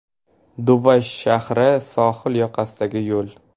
Dubay shahri sohil yoqasidagi yo‘l.